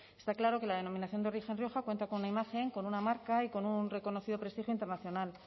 está claro que la denominación de origen rioja cuenta con una imagen con una marca y con un reconocido prestigio internacional